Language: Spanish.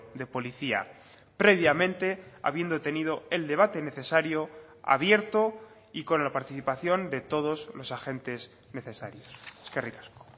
de policía previamente habiendo tenido el debate necesario abierto y con la participación de todos los agentes necesarios eskerrik asko